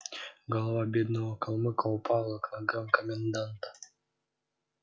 голова бедного калмыка упала к ногам коменданта